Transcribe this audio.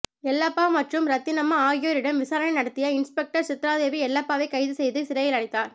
எல்லப்பா மற்றும் ரத்தினம்மா ஆகியோரிடம் விசாரனை நடத்திய இன்ஸ்பெக்டர் சித்ராதேவி எல்லப்பவை கைது செய்து சிறையிலடைத்தார்